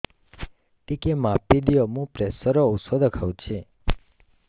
ଟିକେ ମାପିଦିଅ ମୁଁ ପ୍ରେସର ଔଷଧ ଖାଉଚି